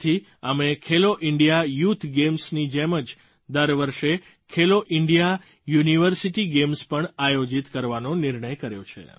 આથી અમે Khelo India youth ગેમ્સની જેમ જ દર વર્ષે ખેલો ઇન્ડિયા યુનિવર્સિટી ગેમ્સ પણ આયોજિત કરવાનો નિર્ણય કર્યો છે